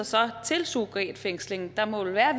sig til surrogatfængsling der må vel være